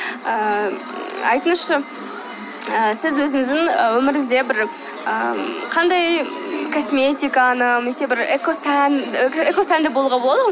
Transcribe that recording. ыыы айтыңызшы ыыы сіз өзіңіздің ы өміріңізде бір ы қандай ы косметиканы немесе бір экосән экосәнді болуға болады ғой